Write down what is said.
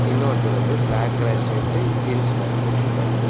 இன்னொருத்தரு வந்து black colour shirt jeans pant போட்டுருக்காரு. ‌